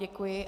Děkuji.